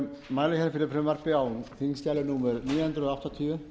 mál númer fimm hundruð áttatíu